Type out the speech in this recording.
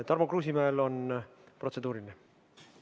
Tarmo Kruusimäel on protseduuriline küsimus.